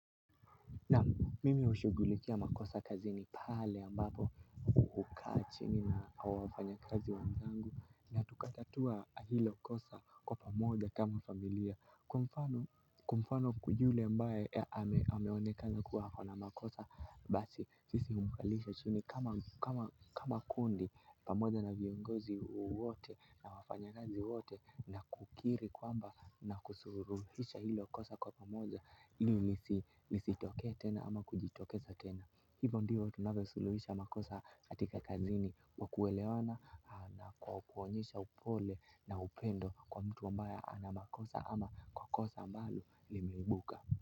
Naam, mimi hushughulikia makosa kazini, pale ambapo hukaa chini na wafanyi kazi wenzangu na tukatatua hilo kosa kwa pamoja kama familia, kwa mfano, naam, mimi hushughulikia makosa kazini, pale ambapo hukaa chini na wafanyi kazi wenzangu na tukatatua hilo kosa kwa pamoja kama familia, kwa mfano, lisitokee tena ama kujitokeza tena hivyo ndivyo tunavyo suluhisha makosa katika kazini kwa kuelewana na kwa kuonyesha upole na upendo kwa mtu ambaya anamakosa ama kwa kosa ambalo limeibuka.